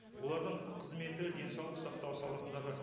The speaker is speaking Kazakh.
олардың қызметі денсаулық сақтау саласындағы